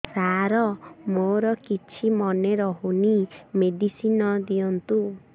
ସାର ମୋର କିଛି ମନେ ରହୁନି ମେଡିସିନ ଦିଅନ୍ତୁ